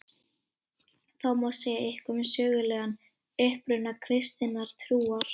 Þó má segja eitthvað um sögulegan uppruna kristinnar trúar.